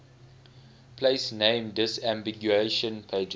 place name disambiguation pages